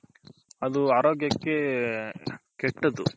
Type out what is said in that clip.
ಅದು ಆರೋಗ್ಯಕ್ಕೆ ಕೆಟ್ಟದು